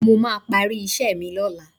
Mo máa parí iṣẹ́ mi lọ́la